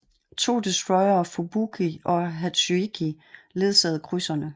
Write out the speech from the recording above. To destroyere Fubuki og Hatsuyuki ledsagede krydserne